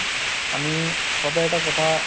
আমি সদায় এটা কথা